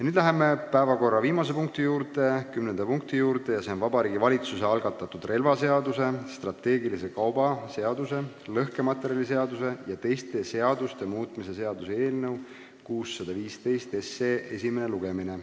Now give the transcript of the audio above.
Nüüd läheme päevakorra viimase, kümnenda punkti juurde ja see on Vabariigi Valitsuse algatatud relvaseaduse, strateegilise kauba seaduse, lõhkematerjaliseaduse ja teiste seaduste muutmise seaduse eelnõu 615 esimene lugemine.